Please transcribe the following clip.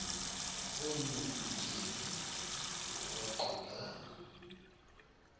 onu butyebi lukwaquka